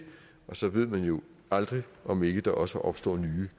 og så ved man jo aldrig om ikke der også opstår nye